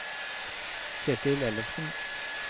Kjetil Ellefsen